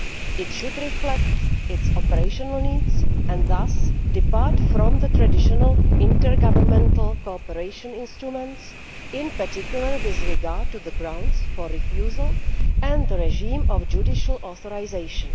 It should reflect its operational needs and thus depart from the traditional intergovernmental cooperation instruments, in particular with regard to the grounds for refusal and the regime of judicial authorisation.